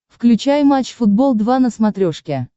включай матч футбол два на смотрешке